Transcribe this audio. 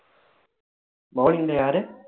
bowling ல யாரு